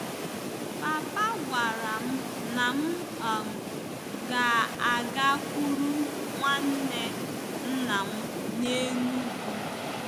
Papa gwara m na m um ga-agakwuru nwanne nna m n'Enugwu.